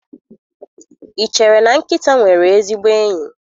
Ị chere na nkịta nwere ezigbo enyi?